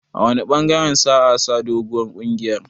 A wanne ɓangaren sa'a sa doguwar kungiyar?